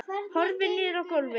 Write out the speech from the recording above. Horfir niður á gólfið.